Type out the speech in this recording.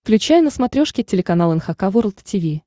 включай на смотрешке телеканал эн эйч кей волд ти ви